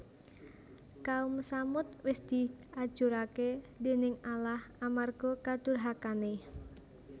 Kaum Tsamud wis diajuraké déning Allah amarga kadurhakané